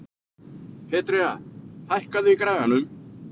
Petrea, hækkaðu í græjunum.